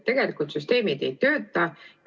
Tegelikult süsteem ei tööta.